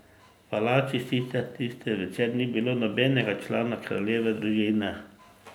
V palači sicer tisti večer ni bilo nobenega člana kraljeve družine.